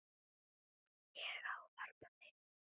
Ég ávarpa þig